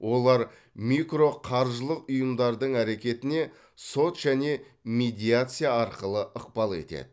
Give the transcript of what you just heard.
олар микроқаржылық ұйымдардың әрекетіне сот және медиация арқылы ықпал етеді